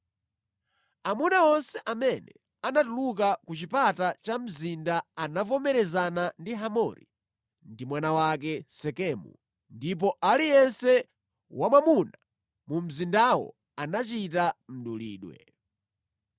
Amuna onse amene anatuluka ku chipata cha mzinda anavomerezana ndi Hamori ndi mwana wake Sekemu, ndipo aliyense wamwamuna mu mzindamo anachita mdulidwe.